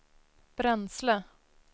bränsle